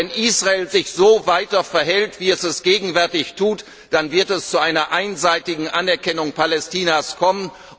Aber wenn Israel sich weiter so verhält, wie es das gegenwärtig tut, dann wird es zu einer einseitigen Anerkennung Palästinas kommen.